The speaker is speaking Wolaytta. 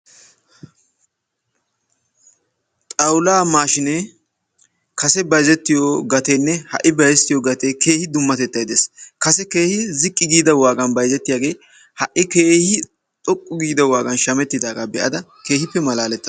xawulaa maashinee kase bayzettiyo gateenne ha'i bayzzetiyo gatee keehi dummatettay de'es. kase keehi ziqqi giida waagan bayzzetiyagee ha'i keehi xoqqu giida waagan shamettidaagaa be'ada keehippe malaalettaas.